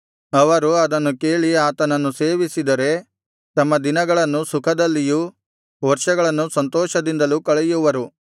ಅವರು ಅದನ್ನು ಕೇಳಿ ಆತನನ್ನು ಸೇವಿಸಿದರೆ ತಮ್ಮ ದಿನಗಳನ್ನು ಸುಖದಲ್ಲಿಯೂ ವರ್ಷಗಳನ್ನು ಸಂತೋಷದಲ್ಲಿಯೂ ಕಳೆಯುವರು